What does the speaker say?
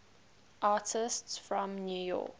artists from new york